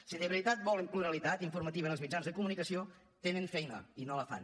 si de veritat volen pluralitat informativa en els mitjans de comunicació tenen feina i no la fan